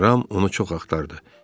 Ram onu çox axtardı.